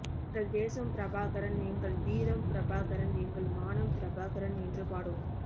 எங்கள் தேசம் பிரபாகரன் எங்கள் வீரம் பிரபாகரன் எங்கள் மானம் பிரபாகரன் என்று பாடுவோம்